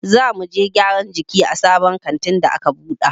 Za muje gyaran jiki a sabon kantin da a ka buɗe.